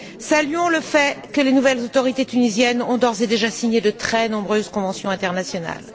Saluons le fait que les nouvelles autorités tunisiennes aient d'ores et déjà signé de très nombreuses conventions internationales.